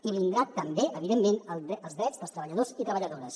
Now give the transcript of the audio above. i vindran també evidentment els drets dels treballadors i treballadores